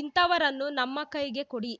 ಇಂಥವರನ್ನು ನಮ್ಮ ಕೈಗೆ ಕೊಡಿ